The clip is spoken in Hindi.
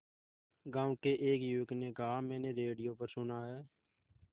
गांव के एक युवक ने कहा मैंने रेडियो पर सुना है